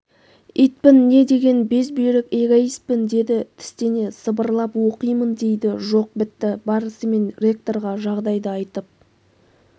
итпін не деген безбүйрек эгоистпін деді тістене сыбырлап оқимын дейді жоқ бітті барысымен ректорға жағдайды айтып